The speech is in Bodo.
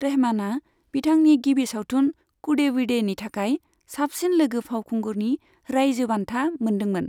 रहमाना बिथांनि गिबि सावथुन 'कूडेविडे'नि थाखाय साबसिन लोगो फावखुंगुरनि रायजो बान्था मोनदोंमोन।